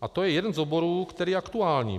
A to je jeden z oborů, který je aktuální.